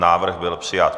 Návrh byl přijat.